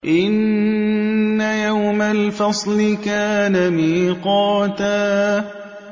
إِنَّ يَوْمَ الْفَصْلِ كَانَ مِيقَاتًا